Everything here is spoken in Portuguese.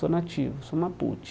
Sou nativo, sou mapute.